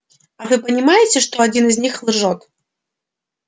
а вы понимаете что один из них лжёт